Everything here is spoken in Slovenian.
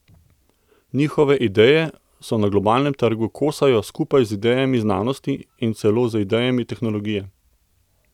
Njihove ideje se na globalnem trgu kosajo skupaj z idejami znanosti in celo z idejami tehnologije.